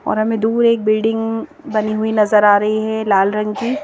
और हमें दूर एक बिल्डिंग बनी हुई नजर आ रही है लाल रंग की।